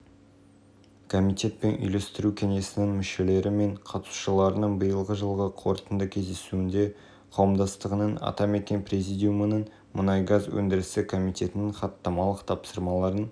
елордада атамекен қазақстан республикасы ұлттық кәсіпкерлер палатасы президиумының мұнай-газ өндірісі комитеті мен қауымдастығы мұнай-газ саласын дамыту жөніндегі үйлестіру кеңесінің бірлескен